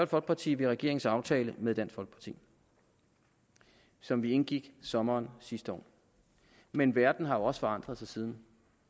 folkeparti ved regeringens aftale med dansk folkeparti som vi indgik i sommeren sidste år men verden har jo også forandret sig siden